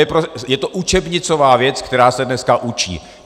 Je to učebnicová věc, která se dneska učí.